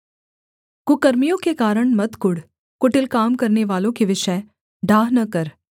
कुकर्मियों के कारण मत कुढ़ कुटिल काम करनेवालों के विषय डाह न कर